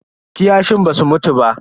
Kiyashin basu mutu ba.